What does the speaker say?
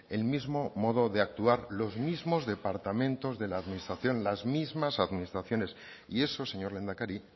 el mismo modo de actuar los mismos departamentos de la administración las mismas administraciones y eso señor lehendakari